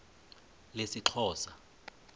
lesixhosa